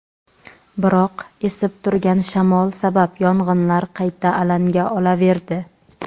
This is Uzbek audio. biroq esib turgan shamol sabab yong‘inlar qayta alanga olaverdi.